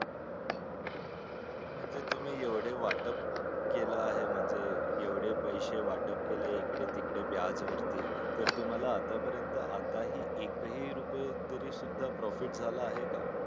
बरं म तुम्ही एवढे वाटप केले आहे म्हणजे एवढे पैसे वाटप इकडे तिकडे व्याज वरती तर तुम्हला आता पर्यंत तुम्हला आता हि एक हि रुपये तरी सुद्धा profit झाला आहे का